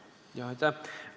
Aitäh!